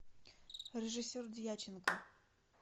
режиссер дьяченко